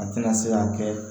A tɛna se k'a kɛ